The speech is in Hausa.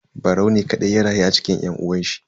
Barau ne kadai ya rayu a cikin yan uwanshi.